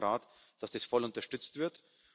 Wir erwarten vom Rat, dass das voll unterstützt wird.